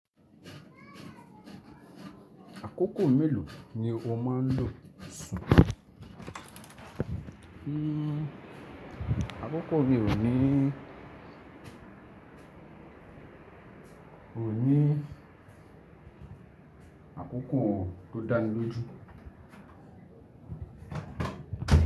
Àkókò mélòó ni o máa ń lo sùn? Hmmm àkókò mi ò ní, ò ní, àkókò tó dání lójú.